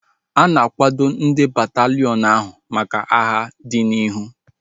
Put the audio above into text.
A na-akwado ndị bataliiọn ahu maka agha dị n'ihu